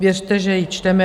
Věřte, že ji čteme.